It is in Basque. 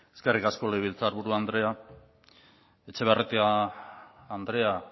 eskerrik asko legebiltzarburu andrea etxebarrieta andrea